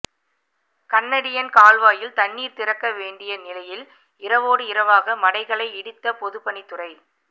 Canadian கால்வாயில் தண்ணீர் திறக்க வேண்டிய நிலையில் இரவோடு இரவாக மடைகளை இடித்த பொதுப்பணித்துறை